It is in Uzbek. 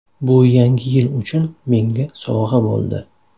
Bu Yangi yil uchun menga sovg‘a bo‘ldi.